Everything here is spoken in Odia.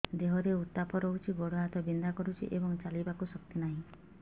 ଦେହରେ ଉତାପ ରହୁଛି ଗୋଡ଼ ହାତ ବିନ୍ଧା କରୁଛି ଏବଂ ଚାଲିବାକୁ ଶକ୍ତି ନାହିଁ